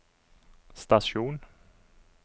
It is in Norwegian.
stasjon